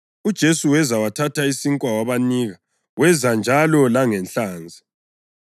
UJesu weza, wathatha isinkwa wabanika, wenza njalo langenhlanzi.